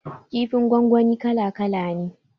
Kifin gwangwani kala kala ne